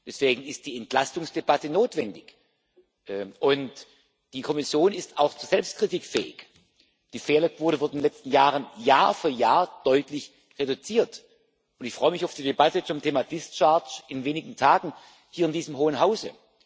Deswegen ist die Entlastungsdebatte notwendig, und die Kommission ist auch zu Selbstkritik fähig. Die Fehlerquote wurde in den letzten Jahren Jahr für Jahr deutlich reduziert, und ich freue mich auf die Debatte zum Thema Entlastung in wenigen Tagen hier in diesem Hohen Hause.